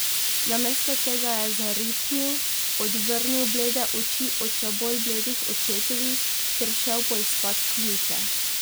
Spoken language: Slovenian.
Namesto tega je zaripnil, odvrnil blede oči od še bolj bledih očetovih ter šel poiskat ključe.